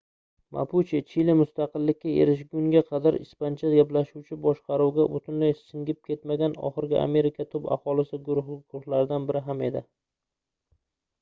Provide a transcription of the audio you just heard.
mapuche chili mustaqillikka erishguniga qadar ispancha gaplashuvchi boshqaruvga butunlay singib ketmagan oxirgi amerika tub aholisi guruhlaridan biri ham edi